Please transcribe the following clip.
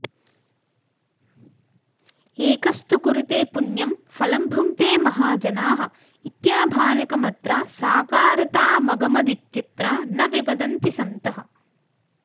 एकस्तु कुरुते पुण्यं फलं भुङ्क्ते महाजनाः इत्याभाणकमत्र साकारतामगमदित्यत्र न विवदन्ति सन्तः